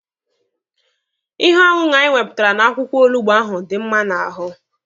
Ihe ọṅụṅụ anyị wepụtara n'akwụkwọ olugbo ahụ dị mma n'ahụ.